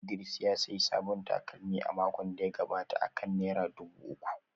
Idris ya sayi sabon takalmi a makon da ya gabata akan naira dubu uku